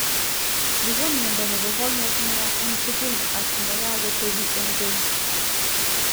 Nii ko miondoo nebo konyek ne yaa eng tugul ak nekago tepii eng keny